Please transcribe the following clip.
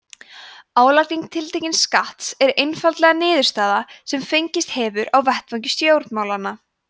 álagning tiltekins skatts er einfaldlega niðurstaða sem fengist hefur á vettvangi stjórnmálanna